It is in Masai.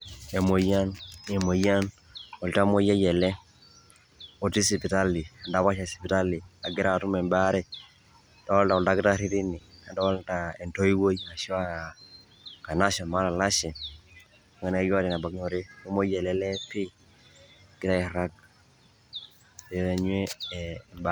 Emoyian um oltamoyiai ele otii sipitali endapash e sipitali egira atum embaare adoolta aldakitarri tine, nadoolta entoiwoi ashu a enkanashe anaa olalashe mayiolo anaa keeta enebaikinore. Kemuoi ele lee pii egira airag egira aanyu embaare.